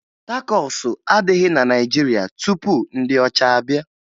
Takosu adịghị na Naịjirịa tupu ndị ọcha abịa